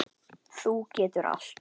Þú getur allt.